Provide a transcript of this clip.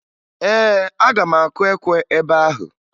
Ee, aga m akụ ekwe ebe ahụ